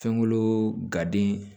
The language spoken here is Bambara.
Fɛnko gaden